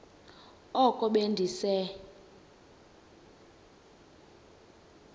oko be ndise